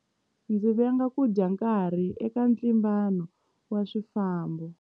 Ndzi venga ku dya nkarhi eka ntlimbano wa swifambo.